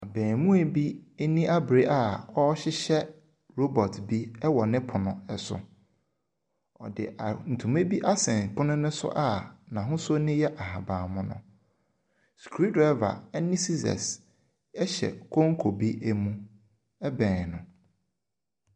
Abaamua bi ani abere a ɔrehyehyɛ robot bi wɔ ne pono so. Wɔde ntoma asɛn pono no so a n'ahosuo no yɛ ahaban mono. Screw driver ne scissors hyɛ konko bi mu bɛn no.